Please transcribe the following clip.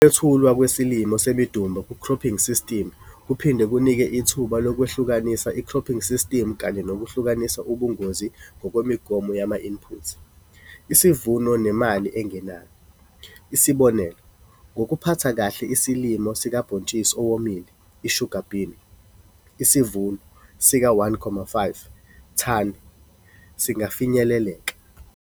Ukwethulwa kwesilimo semidumba kukhrophingi sistimu kuphinde kunike ithuba lokwehlukanisa ikhrophingi sistimu kanye nokwehlisa ubungozi ngokwemigomo yama-input, isivuno nemali engenayo. Isibonelo, ngokuphatha kahle isilimo sikabhontshisi owomile i-sugar bean, isivuno sika-1,5 thani singafinyeleleka.